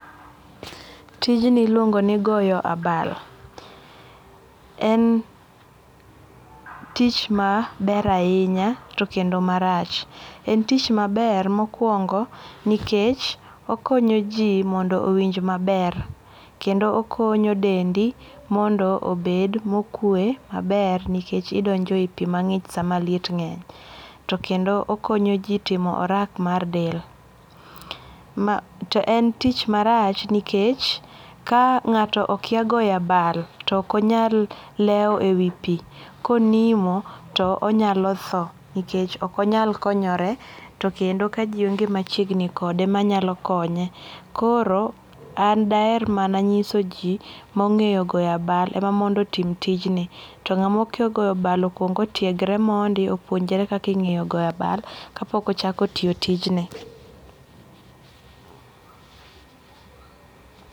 Tijni iluongo ni goyo abal, en tich maber ahinya to kendo marach, en tich maber mokuongo' nikech okonyo ji mondo owinj maber kendo konyo dendi mondo obed mokwe maber nikech idonjo e pi mangi'ch sama liet nge'ny, to kendo okonyo ji timo orak mar del, ma to en tich marach nikech ka nga'to okia goyo abal to okonyal lewo e wi pi konimo to onyalo tho nikech okonyal konyore to kendo ka ji onge' machiegni kode manyalo konye, koro an daher mana nyisoji mange'yo goyo abal ema mondo tim tijini to nga'ma okia goyo abal okuongo'tiegre mondi opuonjre kaka ingeyo goyo abal kapoko chako tiyo tijni